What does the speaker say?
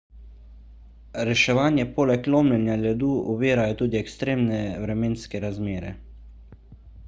reševanje poleg lomljenja ledu ovirajo tudi ekstremne vremenske razmere